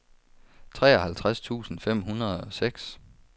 treoghalvtreds tusind fem hundrede og seks